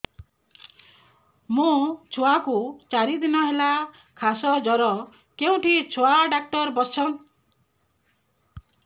ମୋ ଛୁଆ କୁ ଚାରି ଦିନ ହେଲା ଖାସ ଜର କେଉଁଠି ଛୁଆ ଡାକ୍ତର ଵସ୍ଛନ୍